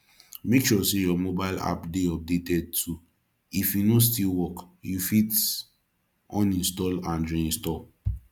make sure say your mobile app de updated too if e no still work you fit uninstall and reinstall